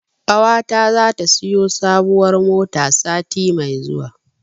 Ƙawata zata siyo sabuwar mota sati mai zuwa.